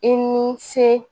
I ni ce